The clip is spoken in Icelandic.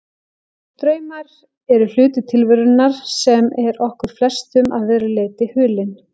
Draumar eru hluti tilverunnar sem er okkur flestum að verulegu leyti hulinn.